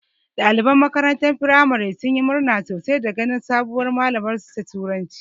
Ɗaliban makarantar firamaren sun yi murna sosai da ganin sabuwar malamar su ta turanci